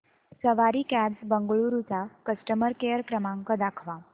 सवारी cabs Bengaluru चा customer care क्रमांक दाखवा